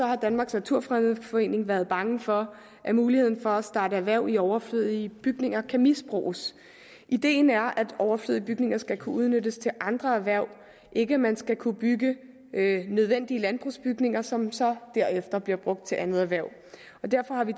har danmarks naturfredningsforening været bange for at muligheden for at starte erhverv i overflødige bygninger kan misbruges ideen er at overflødige bygninger skal kunne udnyttes til andre erhverv ikke at man skal kunne bygge nødvendige landbrugsbygninger som så derefter bliver brugt til andet erhverv derfor har vi